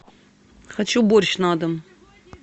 хочу борщ на дом